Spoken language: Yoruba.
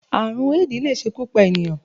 Àrùn Éèdì lè ṣekú pa ènìyàn